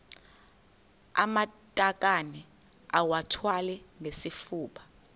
amatakane iwathwale ngesifuba